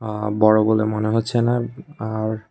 আ বড় বলে মনে হচ্ছেনা আর--